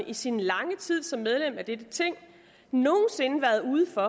i sin lange tid som medlem af dette ting nogen sinde været ude for